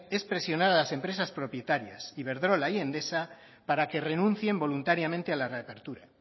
es presionar a las empresas propietarias iberdrola y endesa para que renuncien voluntariamente a la reapertura